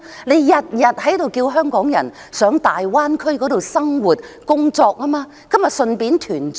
政府每天叫香港人到大灣區生活、工作，那麼何不順便團聚？